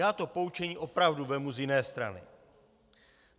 Já to poučení opravdu vezmu z jiné strany.